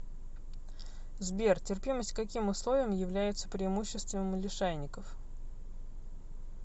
сбер терпимость к каким условиям является преимуществом лишайников